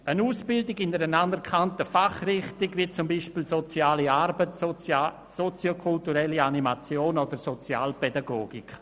Es handelt sich um Ausbildungen in einer anerkannten Fachrichtung wie beispielsweise der sozialen Arbeit, der soziokulturellen Animation oder der Sozialpädagogik.